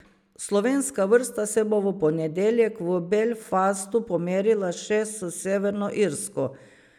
Slovenska vrsta se bo v ponedeljek v Belfastu pomerila še s Severno Irsko.